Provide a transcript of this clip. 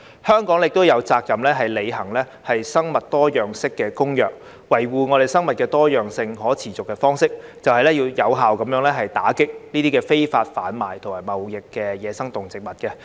香港亦有責任履行《生物多樣性公約》，維護生物多樣性可持續的方式，就是要有效打擊非法販運同貿易野生動植物。